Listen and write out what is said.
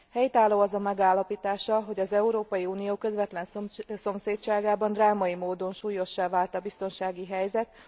Helytálló az a megállapítása, hogy az Európai Unió közvetlen szomszédságában drámai módon súlyossá vált a biztonsági helyzet.